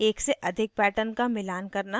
एक से अधिक pattern का मिलान करना